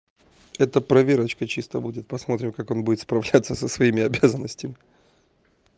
это проверочка чисто будет посмотрим как он будет справляться со своими обязанностями